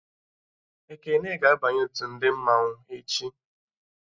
Ekene ga-abanye otu ndị mmanwụ echi